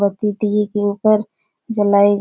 के ऊपर जलाई --